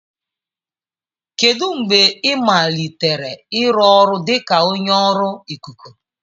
Kedu mgbe ị malitere ịrụ ọrụ dị ka onye ọrụ ikuku?